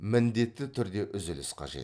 міндетті түрде үзіліс қажет